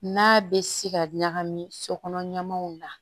N'a bɛ se ka ɲagami so kɔnɔ ɲamanw na